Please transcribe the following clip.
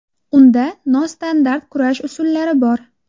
Unda nostandart kurash usullari bor.